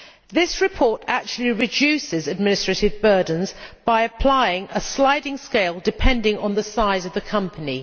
This report actually reduces administrative burdens by applying a sliding scale depending on the size of the company.